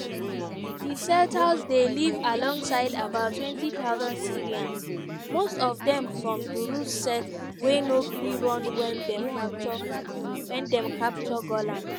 di settlers dey live alongside about 20000 syrians - most of dem from druze sect wey no gree run wen dem capture golan.